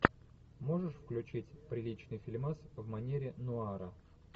можешь включить приличный фильмас в манере нуара